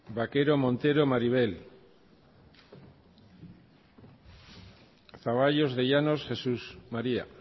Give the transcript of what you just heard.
vaquero montero maribel zaballos de llanos jesús maría